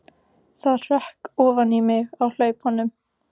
Það hrökk ofan í mig á hlaupunum.